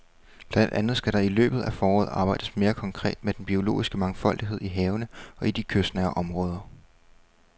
Blandt andet skal der i løbet af foråret arbejdes mere konkret med den biologiske mangfoldighed i havene og i de kystnære områder.